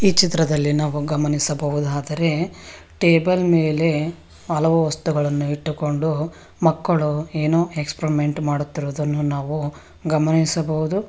ಈ ಚಿತ್ರದಲ್ಲಿ ನಾವು ಗಮನಿಸಬಹುದಾದರೆ ಟೇಬಲ್ ಮೇಲೆ ಹಲವು ವಸ್ತುಗಳನ್ನು ಇಟ್ಟುಕೊಂಡು ಮಕ್ಕಳು ಏನೋ ಎಕ್ಸ್ಪರಿಮೆಂಟ್ ಮಾಡುತ್ತಿರುವುದನ್ನು ನಾವು ಗಮನಿಸಬಹುದು.